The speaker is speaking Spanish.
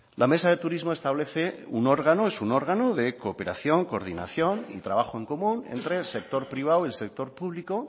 la mesa de turismo es un órgano de cooperación coordinación y trabajo en común entre el sector privado y el sector público